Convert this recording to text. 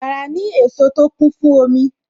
Bàrà ni èso tó kún fún omi